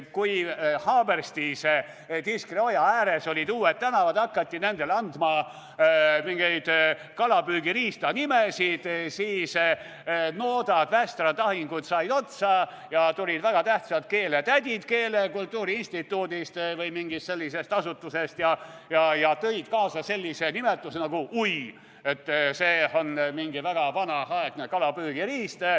Kui Haaberstis Tiskre oja ääres olid uued tänavad ja hakati nendele andma mingeid kalapüügiriistade nimesid, siis noodad, västrad, ahingud said otsa ja tulid väga tähtsad keeletädid keele ja kultuuri instituudist või mingist sellisest asutusest ja tõid kaasa sellise nimetuse nagu "hui", et see on mingi väga vana kalapüügiriist.